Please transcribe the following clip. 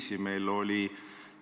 Selle kõigega olen ma nõus.